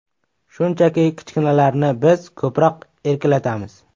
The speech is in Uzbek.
Shunchaki, kichkinalarni biz ko‘proq erkalatamiz.